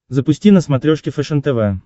запусти на смотрешке фэшен тв